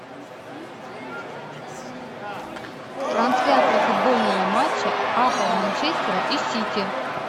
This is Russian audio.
трансляция футбольного матча апл манчестера и сити